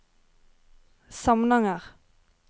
Samnanger